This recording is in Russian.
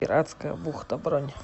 пиратская бухта бронь